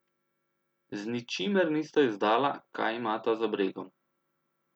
Z ničimer nista izdala, kaj imata za bregom.